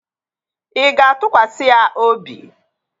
Ị ga-atụkwasị ya obi?